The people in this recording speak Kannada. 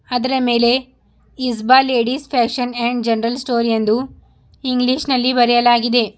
ಅದರ ಮೇಲೆ ice ball ladies fashion and general store ಎಂದು ಇಂಗ್ಲಿಷ್ ನಲ್ಲಿ ಬರೆಯಲಾಗಿದೆ.